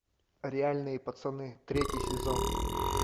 реальные пацаны третий сезон